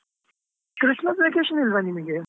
Christmas vacation ಇಲ್ವಾ ನಿಮ್ಗೆ?